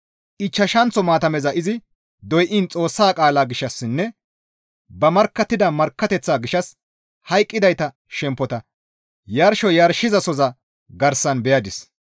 Ichchashanththo maatameza izi doyiin Xoossa qaalaa gishshassinne ba markkattida markkateththaa gishshas hayqqidayta shemppota yarsho yarshizasoza garsan beyadis.